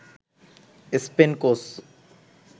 Spain coach